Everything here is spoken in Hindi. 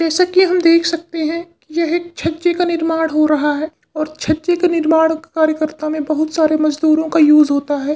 जैसा कि हम देख सकते हैं यहाँ एक छज्जे का निर्माण हो रहा है और छच्चे के निर्माण कार्य कर्ता मे बहुत सारे मजदूरों का यूस होता है।